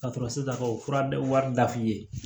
Ka sɔrɔ sisan ka o fura wari da f'i ye